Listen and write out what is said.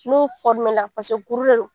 N'o kuru de don